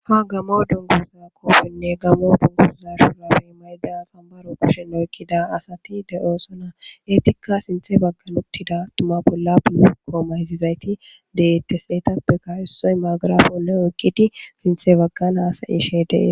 ha gamo dunguza koofenne gammo dunguza shurafey maylda xambaro kushenno ekkida asati de7oosona eetikka sinthe baggan uttida tuma bolla bulu kooma hizizayti deette seetappe kawussoy maagarafo neo ekkidi sinthe baggan hasayishe dee